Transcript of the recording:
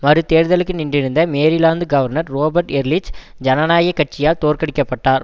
மறு தேர்தலுக்கு நின்றிருந்த மேரிலாந்து கவர்னர் ரோபர்ட் எர்லிச் ஜனநாயக கட்சியால் தோற்கடிக்கப்பட்டார்